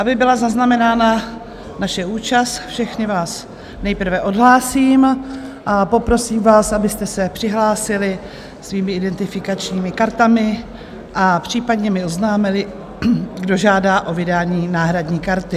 Aby byla zaznamenána naše účast, všechny vás nejprve odhlásím a poprosím vás, abyste se přihlásili svými identifikačními kartami a případně mi oznámili, kdo žádá o vydání náhradní karty.